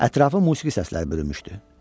Ətrafı musiqi səsləri bürümüşdü.